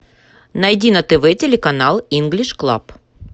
найди на тв телеканал инглиш клаб